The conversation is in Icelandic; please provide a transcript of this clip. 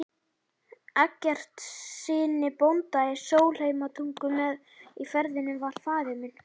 Eggertssyni bónda í Sólheimatungu, með í ferðinni var faðir minn